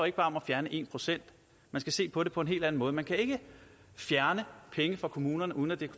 ikke bare om at fjerne en procent man skal se på det på en helt anden måde man kan ikke fjerne penge fra kommunerne uden at det